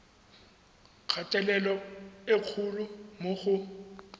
kgatelelo e kgolo mo go